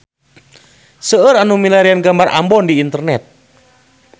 Seueur nu milarian gambar Ambon di internet